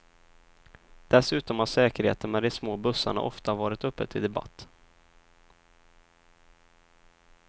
Dessutom har säkerheten med de små bussarna ofta varit uppe till debatt.